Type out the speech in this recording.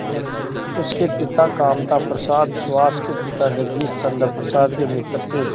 उसके पिता कामता प्रसाद सुहास के पिता जगदीश चंद्र प्रसाद के मित्र थे